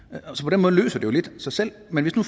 så jo lidt sig selv men hvis nu